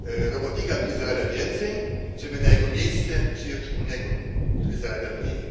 robotnika, który zarabia więcej, żeby na jego miejsce przyjąć innego, który zarabia mniej.